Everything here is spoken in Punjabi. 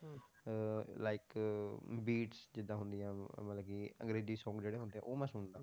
ਅਹ like beats ਜਿੱਦਾਂ ਹੁੰਦੀਆਂ ਮਤਲਬ ਕਿ ਅੰਗਰੇਜ਼ੀ song ਜਿਹੜੇ ਹੁੰਦੇ ਆ, ਉਹ ਮੈਂ ਸੁਣਦਾ,